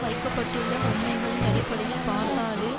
வைக்க பட்டுள்ள உண்மைகளின் அடிப்படையில் பார்த்தாலே